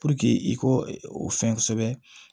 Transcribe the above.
i k'o o fɛn kosɛbɛ